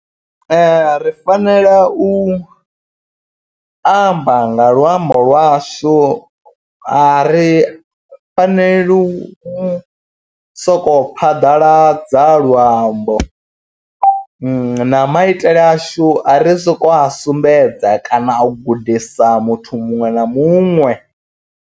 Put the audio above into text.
Ri fanela u amba nga luambo lwashu a ri faneli u soko kho phaḓaladza luambo. Na maitele ashu a ri soko a sumbedza kana a u gudisa muthu muṅwe na muṅwe.